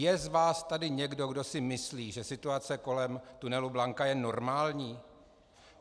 Je z vás tady někdo, kdo si myslí, že situace kolem tunelu Blanka je normální?